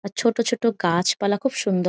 ছোট ছোট গাছপালা খুব সুন্দ--